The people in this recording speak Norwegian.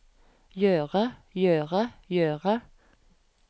gjøre gjøre gjøre